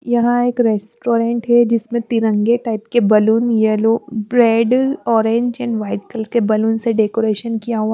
यहाँ एक रेस्टोरेंट है जिसमें तिरंगे टाइप के balloon yellow bread orange and white colour के बलून से डेकोरेशन किया हुआ --